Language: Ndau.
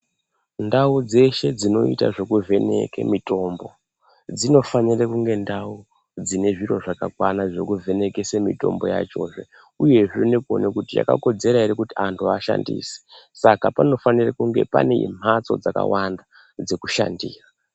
Ndau dzeshe dzinoita zvekuvheneke mitombo dzinofanira kunge ndau dzine zviro zvakakwana zvekuvhenekese mitombo yachozve uyezve nekuona kuti yakakodzera ere kuti anhu ashandise Saka panofanira Saka panofanira kunge pane mhatso dzakawanda dzekushandira.